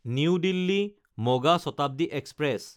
new দিল্লী–মগা Shatabdi express